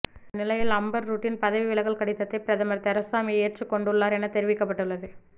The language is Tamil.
இந்தநிலையில் அம்பர் ரூட்டின் பதவி விலகல் கடிதத்தை பிரதமர் தெரசா மே ஏற்றுக் கொண்டுள்ளார் என தெரிவிக்கப்பட்டுள்ளது